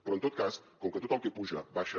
però en tot cas com que tot el que puja baixa